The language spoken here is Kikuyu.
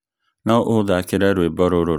No ũthakire rwĩmbo rũrũ rwa wendo nĩndakũhoya?